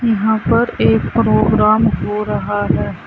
यहां पर एक प्रोग्राम हो रहा है।